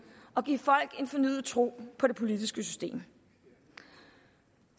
og give folk en fornyet tro på det politiske system